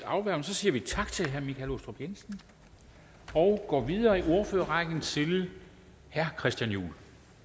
og så siger vi tak til herre michael aastrup jensen og går videre i ordførerrækken til herre christian juhl